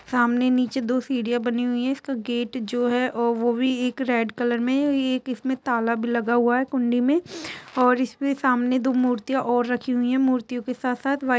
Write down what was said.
सामने नीचे दो सीढ़ियां बनी हुई है इसका गेट जो है वो भी एक रेड कलर में एक इसमें ताला भी लगा हुआ है कुंडी में और इसमें सामने दो मूर्तियां और रखी हुई है मूर्तियों के साथ साथ व्हाइट --